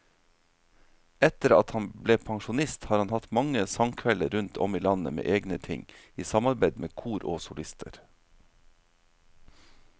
Etter at han ble pensjonist har han hatt mange sangkvelder rundt om i landet med egne ting, i samarbeid med kor og solister.